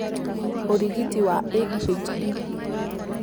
ũrigiti wa ADHD